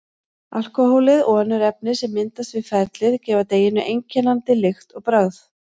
Alkóhólið og önnur efni sem myndast við ferlið gefa deiginu einkennandi lykt og bragð.